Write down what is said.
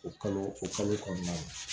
O kalo o kalo kɔnɔna na